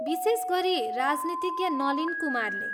विशेष गरी राजनीतिज्ञ नलिन कुमारले।